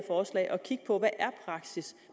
at kigge på hvad praksis